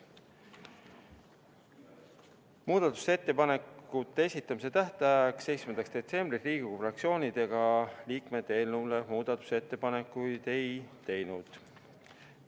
Muudatusettepanekute esitamise tähtajaks, 7. detsembriks Riigikogu fraktsioonid ega liikmed eelnõu kohta muudatusettepanekuid ei teinud.